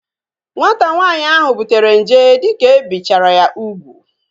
Nwata nwaanyị ahu butere nje dike ebichara ya ugwu